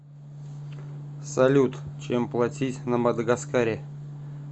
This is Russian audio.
салют чем платить на мадагаскаре